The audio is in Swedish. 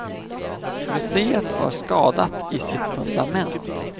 Museet var skadat i sitt fundament.